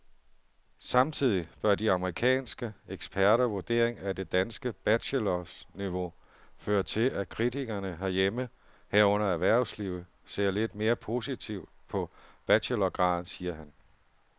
Samtidig bør de amerikanske eksperters vurdering af det danske bachelorniveau føre til, at kritikerne herhjemme, herunder erhvervslivet, ser lidt mere positivt på bachelorgraden, siger han.